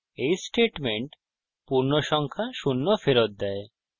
এই statement পূর্ণসংখ্যা শূন্য ফেরত দেয়